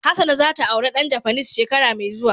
Hassana za ta aure dan Japanese shekara mai zuwa.